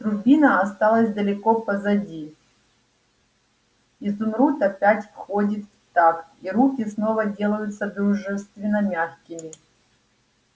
трубина осталась далеко позади изумруд опять входит в такт и руки снова делаются дружественно-мягкими